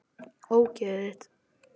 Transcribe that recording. Ógeðið þitt!!